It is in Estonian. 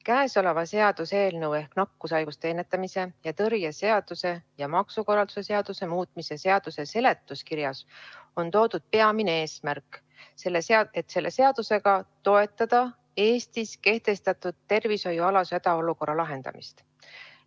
Käesoleva seaduseelnõu ehk nakkushaiguste ennetamise ja tõrje seaduse ja maksukorralduse seaduse muutmise seaduse eelnõu seletuskirjas on toodud peamine eesmärk, et selle seadusega tahetakse toetada Eestis kehtestatud tervishoiualase hädaolukorra lahendamist.